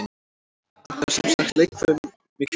Vantar semsagt leikfimikennara?